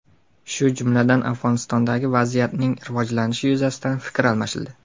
shu jumladan Afg‘onistondagi vaziyatning rivojlanishi yuzasidan fikr almashildi.